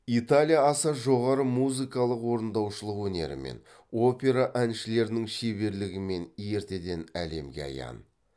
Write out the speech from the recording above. италия аса жоғары музыкалық орындаушылық өнерімен опера әншілерінің шеберлігімен ертеден әлемге аян